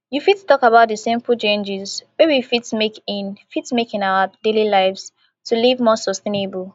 you fit talk about di simple changes wey we fit make in fit make in our daily lives to live more sustainable